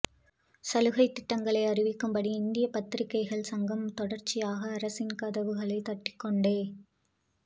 சலுகைத் திட்டங்களை அறிவிக்கும்படி இந்திய பத்திரிகைகள் சங்கம் தொடர்ச்சியாக அரசின் கதவுகளைத் தட்டிக்கொண்டே